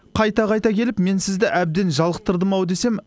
қайта қайта келіп мен сізді әбден жалықтардым ау десем